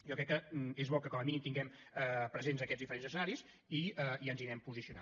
jo crec que és bo que com a mínim tinguem presents aquests diferents escenaris i ens hi anem posicionant